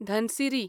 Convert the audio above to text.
Dhansiri